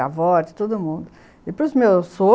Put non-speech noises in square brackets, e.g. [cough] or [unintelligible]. de avô, de todo mundo. E pros meus so [unintelligible]